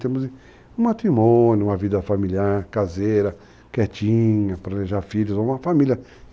Temos um matrimônio, uma vida familiar, caseira, quietinha, pralejar filhos, uma família.